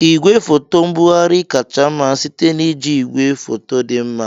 Igwefoto mbugharị kacha mma site na iji igwefoto dị mma.